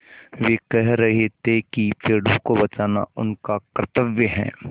वे कह रहे थे कि पेड़ों को बचाना उनका कर्त्तव्य है